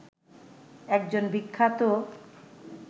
একজন বিখ্যাত